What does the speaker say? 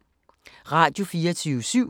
Radio24syv